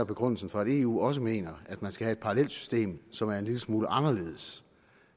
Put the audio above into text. begrundelsen for at eu også mener at man skal have et parallelt system som er en lille smule anderledes